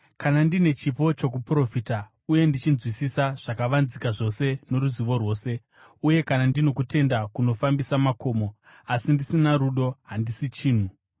Kana ndine chipo chokuprofita uye ndichinzwisisa zvakavanzika zvose noruzivo rwose, uye kana ndino kutenda kunofambisa makomo, asi ndisina rudo, handisi chinhu.